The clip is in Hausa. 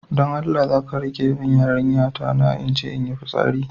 Don Allah zaka riƙe min yarinya ta na inje inyi fitsari?